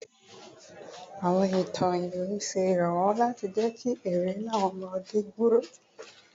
Awọn itan iwin ṣe iranlọwọ lati jẹ ki ero inu awọn ọmọde gbooro